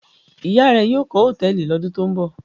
Ìyá rẹ yóò kọ́ hòtẹ́ẹ́lì lọ́dún tó ń bọ̀?